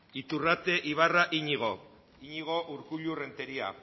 iturrate ibarra iñigo iñigo urkullu renteria